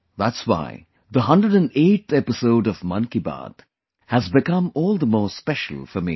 That's why the 108th episode of 'Mann Ki Baat' has become all the more special for me